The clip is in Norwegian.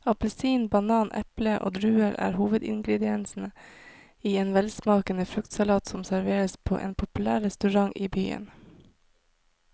Appelsin, banan, eple og druer er hovedingredienser i en velsmakende fruktsalat som serveres på en populær restaurant i byen.